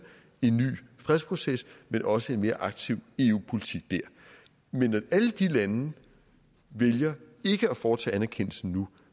en ny fredsproces men også en mere aktiv eu politik der men når alle de lande vælger ikke at foretage anerkendelsen nu